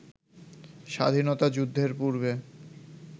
স্বাধীনতা যুদ্ধের পূর্বে